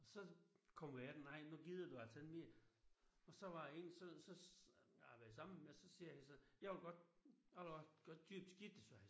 Så kommer jeg ind nej nu gider du altså ikke mere og så var der en så så jeg har været sammen med så siger han så jeg vil godt jeg vil godt købe skidtet sagde han så